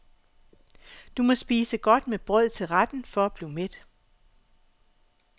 Du må spise godt med brød til retten for at blive mæt.